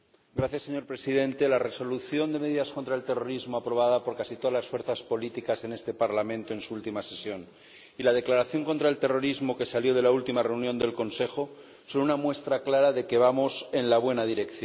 Señor Presidente, la Resolución sobre medidas de lucha contra el terrorismo aprobada por casi todas las fuerzas políticas en este Parlamento en su última sesión y la Declaración contra el terrorismo que salió de la última reunión del Consejo, son una muestra clara de que vamos en la buena dirección.